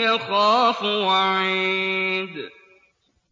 يَخَافُ وَعِيدِ